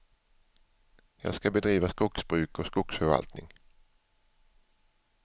Jag ska bedriva skogsbruk och skogsförvaltning.